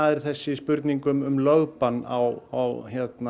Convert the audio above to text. er þessi spurning um lögbann á